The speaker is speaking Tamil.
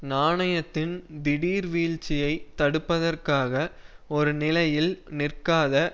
நாணயத்தின் திடீர் வீழ்ச்சியை தடுப்பதற்காக ஒரு நிலையில் நிற்காத